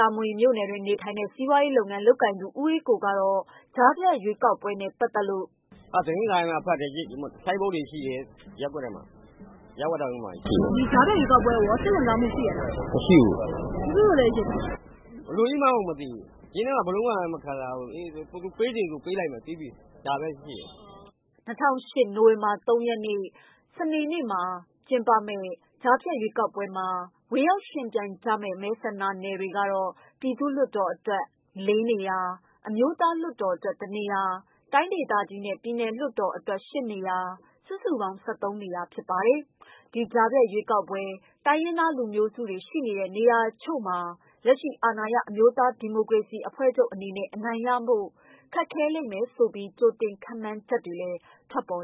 တာမွေမြို့နယ်တွင်းနေထိုင်နေတဲ့ စီးပွားရေးလုပ်ငန်းလုပ်ကိုင်သူ ဦးအေးကိုကတော့ ကြားဖြတ်ရွေးကောက်ပွဲနဲ့ ပတ်သက်လို့၊ "မေး။ ။ ကြားဖြတ်ရွေးကောက်ပွဲ ကိုမဲပေးရမှာဘယ်လိုသိပါသလဲ.ဖြေ။ ။ သတင်းစာဖတ်တယ်။ ဆိုင်းပုဒ်တွေရှိတယ်။ ရဝတရုံးမှာ ကပ်ထားတယ်။ မေး။ ။ ကြားဖြတ်ကိုကော စိတ်ဝင်စားမှုရှိရဲ့လား ဖြေ ။ ။ မရှိဘူး မေး။ ။ ဘာဖြစ်လို့လဲရှင့် ဖြေ။ ။ မသိဘူး ဘယ်လိုကြီးမှန်းမသိဘူး ပေးလိုက်လို့ဆို ပေးလိုက်မှာဘဲ" ၂၀၁၈ နိုဝင်ဘာလ ၃ရက် စနေနေ့မှာ ကျင်းပမယ့် ကြားဖြတ်ရွေးကောက်ပွဲမှာ ဝင်ရောက်ယှဉ်ပြိုင်ကြရမယ့် မဲဆန္ဒနယ်တွေကတော့ ပြည်သူ့ လွှတ်တော်အတွက် ၄ နေရာ၊ အမျိုးသားလွှတ်တော်အတွက် ၁ နေရာ၊ တိုင်းဒေသကြီးနဲ့ ပြည်နယ်လွှတ်တော်အတွက် ၈ နေရာ စုစုပေါင်း နေရာ ဖြစ်ပါတယ်။ ဒီကြားဖြတ်ရွေးကောက်ပွဲ တိုင်းရင်းသားလူမျိုးစုတွေ ရှိတဲ့နေရာတချို့မှာ လက်ရှိ အာဏာရ အမျိုးသားဒီမိုကရေစီအဖွဲ့ချုပ်အနေနဲ့ အနိုင်ရဖို့ ခက်လိမ့်မယ်ဆိုပြီး ကြိုတင်ခန့်မှန်းချက်တွေလည်း ထွက်ပေါ်